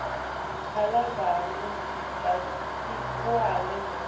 balabantfu basetikolweni nobe